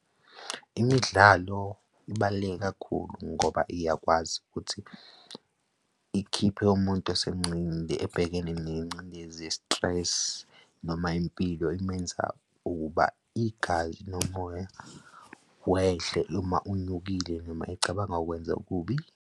Imidlalo ibaluleke kakhulu ngoba iyakwazi ukuthi ikhiphe umuntu ebhekene nengcindezi ye-stress noma impilo imenza ukuba igazi nomoya wehle uma unyukile noma ecabanga ukwenza okubi.